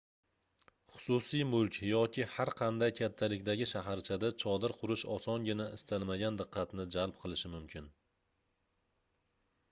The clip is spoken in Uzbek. xususiy mulk yoki har qanday kattalikdagi shaharchada chodir qurish osongina istalmagan diqqatni jalb qilishi mumkin